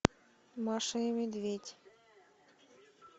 маша и медведь